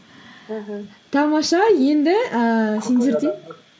мхм тамаша енді ііі сендерде